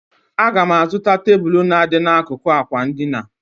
Aga m azụta tebụl na-adị n'akụkụ àkwà edina.